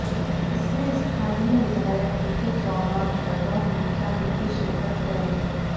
इसमें स्थानीय विधायक बीके चौहान बतौर मुख्यातिथि शिरकत करेंगे